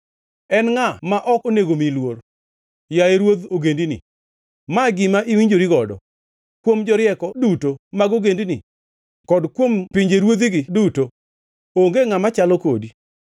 En ngʼa ma ok onego miyi luor, yaye Ruodh ogendini? Ma gima iwinjori godo. Kuom jorieko duto mag ogendini kod kuom pinjeruodhigi duto, onge ngʼama chalo kodi.